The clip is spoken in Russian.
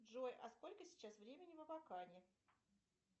джой а сколько сейчас времени в абакане